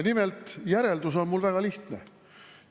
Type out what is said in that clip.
Nimelt, järeldus on mul väga lihtne.